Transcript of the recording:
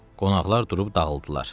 Qonaqlar durub dağıldılar.